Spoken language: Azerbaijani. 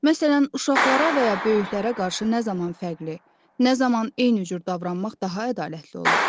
Məsələn, uşaqlara və ya böyüklərə qarşı nə zaman fərqli, nə zaman eyni cür davranmaq daha ədalətli olar?